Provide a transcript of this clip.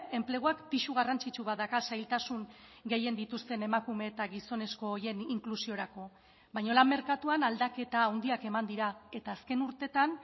enpleguak pisu garrantzitsu bat dauka zailtasun gehien dituzten emakume eta gizonezko horien inklusiorako baina lan merkatuan aldaketa handiak eman dira eta azken urteetan